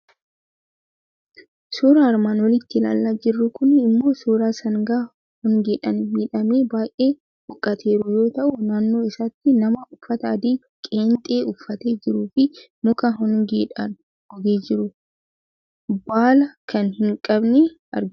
Suuraan armaan olitti ilaalaa jirru kuni immoo suuraa sangaa hongeedhaan miidhamee baay'ee huuqqateeru yoo ta'u, naannoo isaatti nama uffata adii qeenxee uffatee jiruu fi muka hongeedhaan gogee jiru, baala kan hin qabne argina.